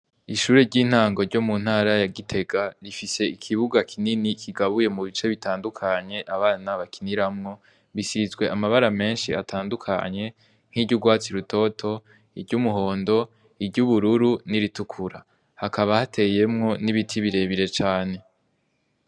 Ishuri ry'intango ryo mu ntara yagitega rifise ikibuga kinini kigabuye mu bice bitandukanye abana bakiniramwo, bisizwe amabara menshi atandukanye nk'iryo urwatsi rutoto iryo umuhondo iryo ubururu n'iritukura, hakaba hateyemwo n'ibiti birebire cane.